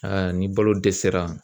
ni balo dɛsɛra